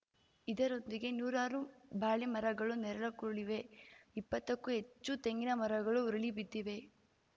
ಇದರೊಂದಿಗೆ ನೂರಾರು ಬಾಳೆ ಮರಗಳೂ ನೆಲಕ್ಕುರುಳಿವೆ ಇಪ್ಪತ್ತಕ್ಕೂ ಹೆಚ್ಚು ತೆಂಗಿನ ಮರಗಳು ಉರುಳಿ ಬಿದ್ದಿವೆ